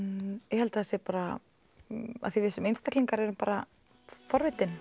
ég held það sé bara því við sem einstaklingar erum forvitin